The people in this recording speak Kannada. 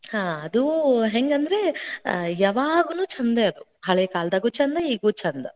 ಹಾ ಅದೂ ಹೆಂಗಂದ್ರೆ ಆ ಯಾವಾಗೂನು ಛೆಂದ ಅದು. ಹಳೆ ಕಾಲದಾಗೂ ಛೆಂದ, ಈಗೂ ಛೆಂದ.